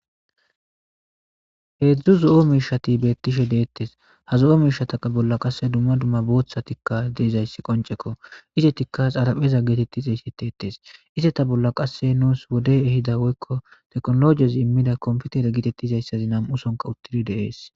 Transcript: heedzdzu zo7o miishati beettishe deettes ha zo7o miishataqa bolla qasse dumma dumma booththatikka deezayssi qoncekko isetikka xarapheza geetetti xeyssitetes iseta bolla qasse nuus wodey ehida woykko teknologiyez immida komputere gitettizayssazi nam7usonka uttidi deees